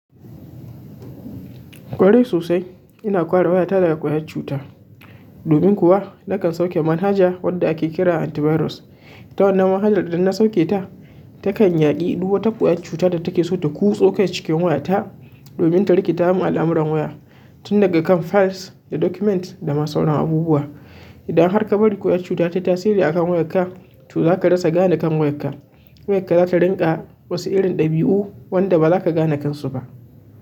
Kwarai sosai. Ina ƙwarewa ya tara ƙwayar cuta. Domin kuwa nakan sauke manhaja wadda ake kira antivirus. Ta wannan manhajar idan na sauke ta, takan yaƙi duk wata ƙwayar cuta da take so ta kuso kai cikin wayata, domin ta rikita mun al'amuran waya, tun daga kan files da documents da ma sauran abubuwa. Idan har kabari kyar cuta tayi wayarka za ta rinƙa wasu irin ɗabi'u wanda ba za ka gane kansu ba.